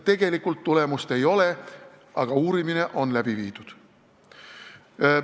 Tegelikult tulemust ei ole, aga uurimine on läbi viidud.